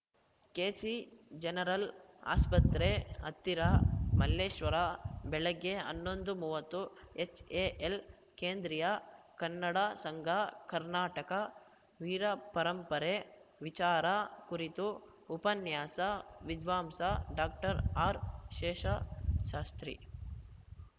KC General ಆಸ್ಪತ್ರೆ ಹತ್ತಿರ ಮಲ್ಲೇಶ್ವರ ಬೆಳಗ್ಗೆ ಹನ್ನೊಂದು ಮೂವತ್ತು ಎಚ್‌ಎಎಲ್‌ ಕೇಂದ್ರೀಯ ಕನ್ನಡ ಸಂಘ ಕರ್ನಾಟಕ ವೀರಪರಂಪರೆ ವಿಚಾರ ಕುರಿತು ಉಪನ್ಯಾಸ ವಿದ್ವಾಂಸ ಡಾಕ್ಟರ್ ಆರ್‌ಶೇಷಶಾಸ್ತ್ರಿ